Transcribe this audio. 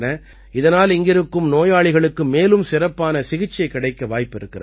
இதனால் இங்கிருக்கும் நோயாளிகளுக்கு மேலும் சிறப்பான சிகிச்சை கிடைக்க வாய்ப்பிருக்கிறது